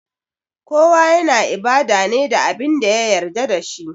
Kowa yana ibada ne da Abin da ya yarda da shi